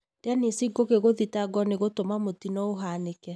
Dennis Ngugi gũthitangwo ni gũtũma mũtino ũhanĩke.